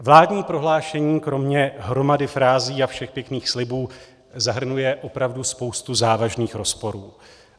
Vládní prohlášení, kromě hromady frází a všech pěkných slibů zahrnuje opravdu spoustu závažných rozporů.